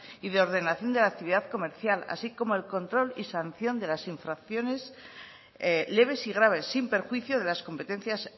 y ordenación de la actividad comercial así como el control y sanción de las infracciones leves y graves sin perjuicio de las competencias